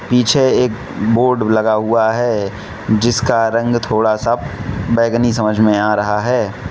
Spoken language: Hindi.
पीछे एक बोर्ड लगा हुआ है जिसका रंग थोड़ा सा बैंगनी समझ में आ रहा है।